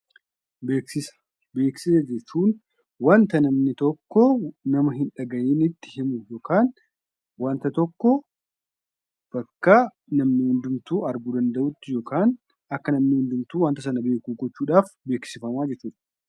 Beeksisa. Beeksisa jechuun waanta namni tokko nama hin dhaga'initti himu yookan wanta tokko bakka namni hundumtuu arguu danda'utti yookan akka namni hundumtuu wanta sana beeku gochuudhaf beeksifamaa jechuudha.